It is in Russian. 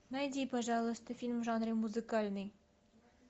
найди пожалуйста фильм в жанре музыкальный